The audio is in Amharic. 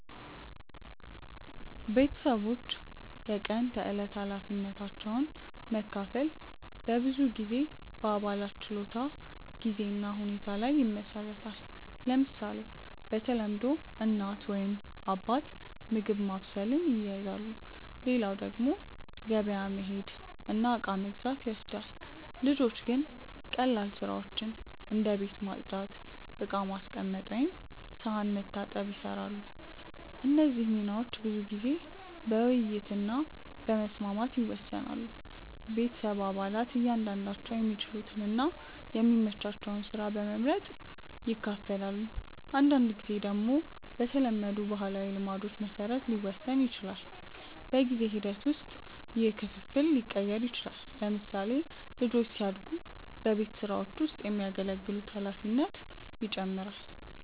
ቤተሰቦች የቀን ተዕለት ኃላፊነቶችን መካፈል በብዙ ጊዜ በአባላት ችሎታ፣ ጊዜ እና ሁኔታ ላይ ይመሰረታል። ለምሳሌ፣ በተለምዶ እናት ወይም አባት ምግብ ማብሰልን ይይዛሉ፣ ሌላው ደግሞ ገበያ መሄድ እና እቃ መግዛት ይወስዳል። ልጆች ግን ቀላል ስራዎችን እንደ ቤት ማጽዳት፣ ዕቃ ማስቀመጥ ወይም ሳህን መታጠብ ይሰራሉ። እነዚህ ሚናዎች ብዙ ጊዜ በውይይት እና በመስማማት ይወሰናሉ። ቤተሰብ አባላት እያንዳንዳቸው የሚችሉትን እና የሚመቻቸውን ስራ በመመርጥ ይካፈላሉ። አንዳንድ ጊዜ ደግሞ በተለመዱ ባህላዊ ልማዶች መሰረት ሊወሰን ይችላል። በጊዜ ሂደት ውስጥ ይህ ክፍፍል ሊቀየር ይችላል። ለምሳሌ፣ ልጆች ሲያድጉ በቤት ስራዎች ውስጥ የሚያገለግሉት ኃላፊነት ይጨምራል።